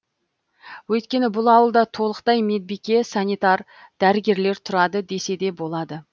өйткені бұл ауылда толықтай медбике санитар дәрігерлер тұрады десе де болады